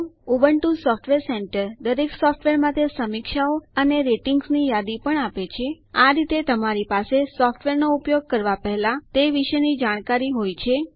Ubuntu software centre દરેક software માટે સમીક્ષાઓ એટલે કે રીવ્યુ અને રેટિંગ્સ ની યાદી પણ આપે છે આ રીતે તમારી પાસે સોફ્ટવેર નો ઉપયોગ કરવા પેહલા તે વિશે જાણકારી હોય છે